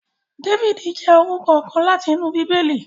David jẹ orukọ kan lati inu Bibeli